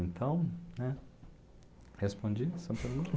Então, né, respondi essa pergunta?